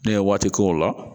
Ne ye waati k'o la